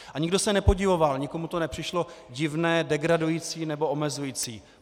A nikdo se nepodivoval, nikomu to nepřišlo divné, degradující nebo omezující.